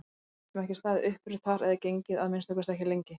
Við gætum ekki staðið upprétt þar eða gengið, að minnsta kosti ekki lengi!